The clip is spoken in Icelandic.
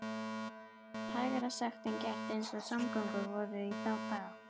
Þetta var hægara sagt en gert eins og samgöngur voru í þá daga.